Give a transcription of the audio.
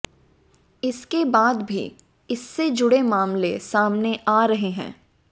इसके बाद भी इससे जुड़े मामले सामने आ रहे हैं